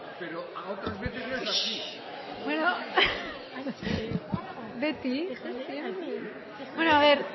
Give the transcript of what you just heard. pero a otras veces ya bueno beti bueno a ver